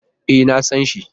E, na san shi.